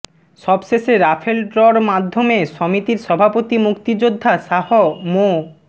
সবশেষে রাফেল ড্রর মাধ্যমে সমিতির সভাপতি মুক্তিযোদ্ধা শাহ মো